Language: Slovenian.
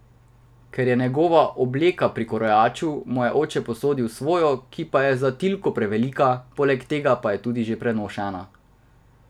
Ker je njegova obleka pri krojaču, mu oče posodi svojo, ki pa je za Tilko prevelika, poleg tega pa je tudi že ponošena.